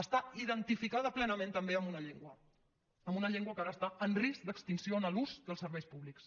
està identificada plenament també amb una llengua amb una llengua que ara està en risc d’extinció en l’ús dels serveis públics